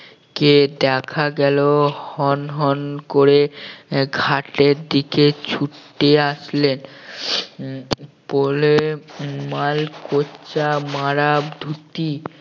কে দেখা গেল হন হন করে আহ ঘাটের দিকে ছুটে আসলেন উম পড়লেন মালকোঁচা মারা ধুতি